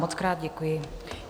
Mockrát děkuji.